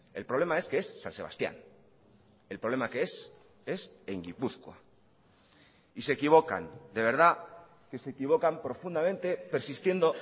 el problema es que es san sebastían el problema que es es en gipuzkoa y se equivocan de verdad que se equivocan profundamente persistiendo